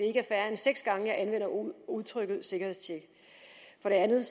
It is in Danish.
er færre end seks gange jeg anvender udtrykket sikkerhedstjek for det andet